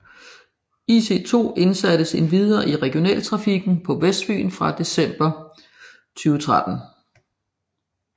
IC2 indsattes endvidere i regionaltrafikken på Vestfyn fra december 2013